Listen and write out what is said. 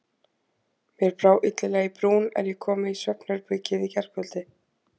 Mér brá illilega í brún, er ég kom inn í svefnherbergið í gærkveldi.